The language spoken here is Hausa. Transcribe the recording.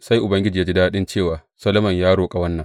Sai Ubangiji ya ji daɗi cewa Solomon ya roƙa wannan.